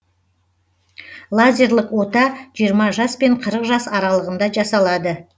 лазерлік ота жиыра жаспен қырық жас аралығында жасалады